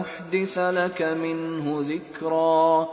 أُحْدِثَ لَكَ مِنْهُ ذِكْرًا